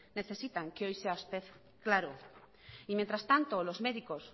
necesitan que hoy sea usted claro y mientras tanto los médicos